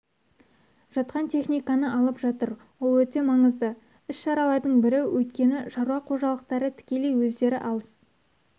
жатқан техниканы алып жатыр ол өте маңызды іс-шаралардың бірі өйткені шаруа қожалықтары тікелей өздері алыс